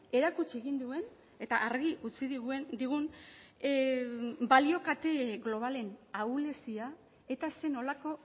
erakutsi egin duen eta argi utzi digun balio kalte globalen ahulezia eta zer nolako